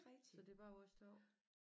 Så det er bare os 2